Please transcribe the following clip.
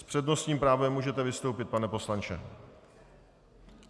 S přednostním právem můžete vystoupit, pane poslanče.